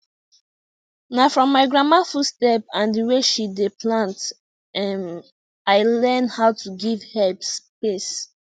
na from my grandma footstep and the way she dey plant um i learn how to give herbs space